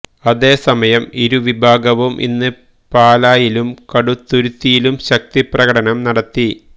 അതേസമയം ഇരുവിഭാഗവും ഇന്ന് പാലായിലും കടുത്തുരുത്തിയിലും ശക്തി പ്രകടനം നടത്തി